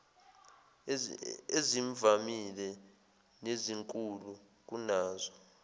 ezivamile nezinkulu kunazo